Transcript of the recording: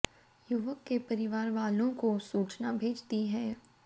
युवक के परिवार वालों को सूचना भेज दी है